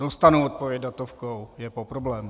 Dostanou odpověď datovkou, je po problému.